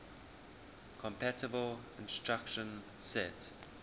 compatible instruction set